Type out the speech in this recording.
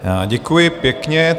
Děkuji pěkně.